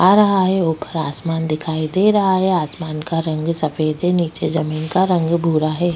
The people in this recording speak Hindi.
आ रहा है ऊपर आसमान दिखाई दे रहा है आसमान का रंग सफ़ेद है नीचे जमींन का रंग भूरा है।